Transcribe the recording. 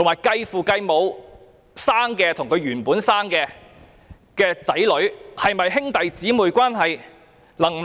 繼父繼母的子女與親生子女是否有兄弟姊妹關係？